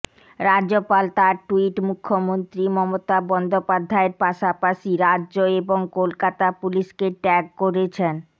রাজ্যপাল তার ট্যুইট মুখ্যমন্ত্রী মমতা বন্দ্যোপাধ্যায়ের পাশাপাশি রাজ্য এবং কলকাতা পুলিশকে ট্যাগ করেছেন